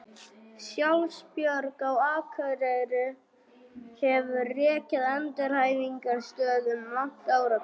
Sjálfsbjörg á Akureyri hefur rekið endurhæfingarstöð um langt árabil.